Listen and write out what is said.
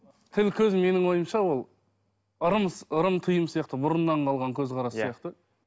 тіл көз менің ойымша ол ырым ырым тыйым сияқты бұрыннан қалған көзқарас сияқты